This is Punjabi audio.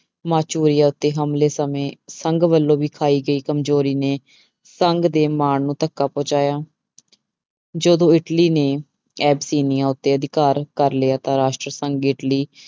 ਮਾਚੋਈਆ ਉੱਤੇ ਹਮਲੇ ਸਮੇਂ ਸੰਘ ਵੱਲੋਂ ਵਿਖਾਈ ਗਈ ਕਮਜ਼ੋਰੀ ਨੇ ਸੰਘ ਦੇ ਮਾਣ ਨੂੰ ਧੱਕਾ ਪਹੁੰਚਾਇਆ ਜਦੋਂ ਇਟਲੀ ਨੇ ਐਤਸੀਨੀਆ ਉੱਤੇ ਅਧਿਕਾਰ ਕਰ ਲਿਆ ਤਾਂ ਰਾਸ਼ਟਰ ਸੰਘ ਇਟਲੀ